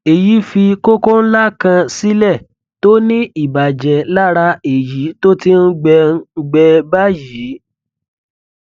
èyí fi kókó ńlá kan sílẹ tó ní ìbàjẹ lára èyí tó ti ń gbẹ ń gbẹ báyìí